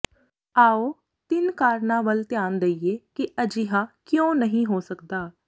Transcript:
ਆਉ ਤਿੰਨ ਕਾਰਨਾਂ ਵੱਲ ਧਿਆਨ ਦੇਈਏ ਕਿ ਅਜਿਹਾ ਕਿਉਂ ਨਹੀਂ ਹੋ ਸਕਦਾ